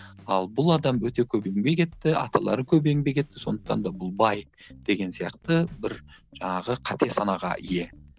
ал бұл адам өте көп еңбек етті аталары көп еңбек етті сондықтан да бұл бай деген сияқты бір жаңағы қате санаға ие